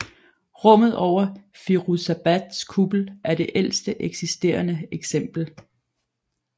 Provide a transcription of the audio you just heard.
Rummet under Firouzabads kuppel er det ældste eksisterende eksempel